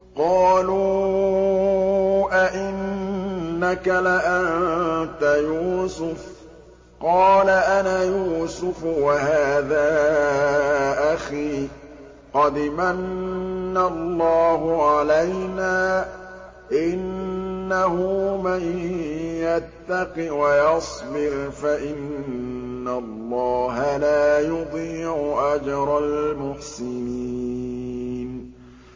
قَالُوا أَإِنَّكَ لَأَنتَ يُوسُفُ ۖ قَالَ أَنَا يُوسُفُ وَهَٰذَا أَخِي ۖ قَدْ مَنَّ اللَّهُ عَلَيْنَا ۖ إِنَّهُ مَن يَتَّقِ وَيَصْبِرْ فَإِنَّ اللَّهَ لَا يُضِيعُ أَجْرَ الْمُحْسِنِينَ